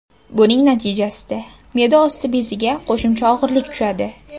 Buning natijasida me’da osti beziga qo‘shimcha og‘irlik tushadi.